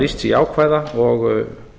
lýst sig jákvæða og